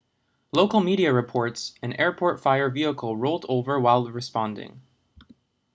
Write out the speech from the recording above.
local media reports an airport fire vehicle rolled over while responding